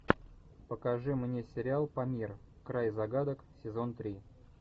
покажи мне сериал памир край загадок сезон три